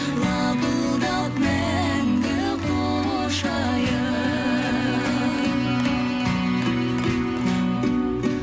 лапылдап мәңгі құшайын